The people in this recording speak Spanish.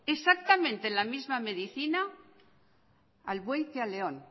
exactamente en la misma medicina al buey que al león